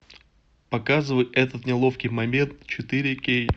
показывай этот неловкий момент четыре кей